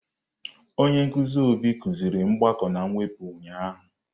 Onye nkuzi Obi kuziri mgbakọ na mwepụ ụnyahụ.